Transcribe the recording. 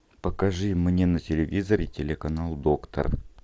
покажи мне на телевизоре телеканал доктор